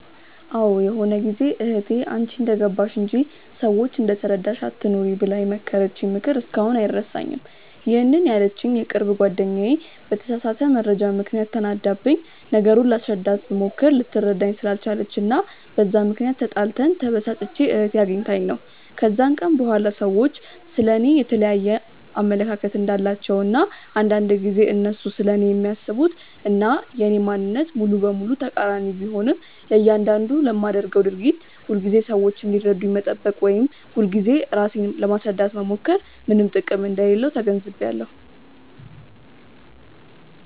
አዎ ይሆነ ጊዜ እህቴ "አንቺ እንደገባሽ እንጂ፤ ሰዎች እንደተረዳሽ አትኑሪ" ብላ የመከረችኝ ምክር እስካሁን አይረሳኝም፤ ይሄንን ያለችኝ የቅርብ ጓደኛዬ በተሳሳተ መረጃ ምክንያት ተናዳብኝ፤ ነገሩን ላስረዳት ብሞክር ልትረዳኝ ስላልቻለች እና በዛ ምክንያት ተጣልተን፤ ተበሳጭቼ እህቴ አግኝታኝ ነው። ከዛን ቀን በኋላ ሰዎች ስለ እኔ የየተለያየ አመለካከት እንዳላቸው እና አንዳንድ ጊዜ እነሱ ስለኔ የሚያስቡት እና የኔ ማንነት ሙሉ በሙሉ ተቃሪኒ ቢሆንም፤ ለያንዳንዱ ለማደርገው ድርጊት ሁልጊዜ ሰዎች እንዲረዱኝ መጠበቅ ወይም ሁልጊዜ ራሴን ለማስረዳት መሞከር ምንም ጥቅም እንደሌለው ተገንዝቢያለው።